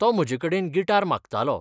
तो म्हजेकडेन गिटार मागतालो.